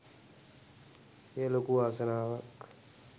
එය ලොකු වාසනාවක්